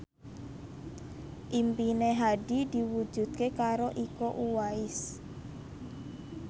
impine Hadi diwujudke karo Iko Uwais